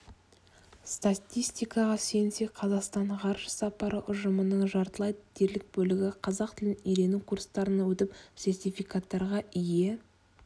статистикаға сүйенсек қазақстан ғарыш сапары ұжымының жартылай дерлік бөлігі қазақ тілін үйрену курстарынан өтіп сертификаттарға ие